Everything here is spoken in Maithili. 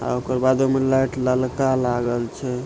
आ ओकर बादो में लाइट ललका लागल छै।